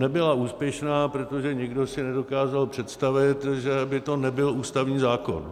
Nebyla úspěšná, protože nikdo si nedokázal představit, že by to nebyl ústavní zákon.